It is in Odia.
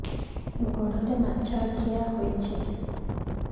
ଗୋଡ଼ରେ ମାଛଆଖି ହୋଇଛି